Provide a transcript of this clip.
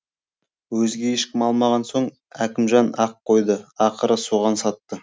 өзге ешкім алмаған соң әкімжан ақ қойды ақыры соған сатты